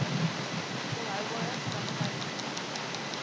volhoubare praktyk e